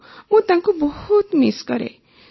ହଁ ମୁଁ ତାଙ୍କୁ ବହୁତ ମିସ୍ କରେ